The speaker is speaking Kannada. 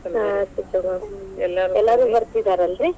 ಹಾ ಆಯ್ತ್ ತಗೋರಿ. ಬತಿ೯ದಾರಲ್ರಿ?